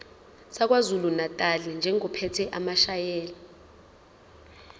sakwazulunatali njengophethe amasheya